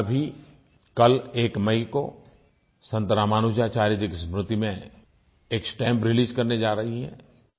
भारत सरकार भी कल 1 मई को संत रामानुजाचार्य जी की स्मृति में एक स्टैंप रिलीज करने जा रही है